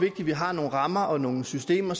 at vi har nogle rammer og nogle systemer